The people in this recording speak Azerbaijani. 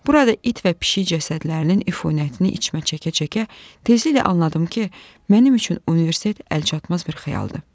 Burada it və pişik cəsədlərinin ifuynətini içmə çəkə-çəkə tezliklə anladım ki, mənim üçün universitet əlçatmaz bir xəyaldır.